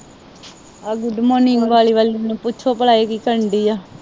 ਆਹ good morning ਵਾਹਲੀ-ਵਾਹਲੀ। ਮੈਨੂੰ ਪੁੱਛੋ ਭਲਾ ਇਹ ਕੀ ਕਰਨ ਦਈ ਆ।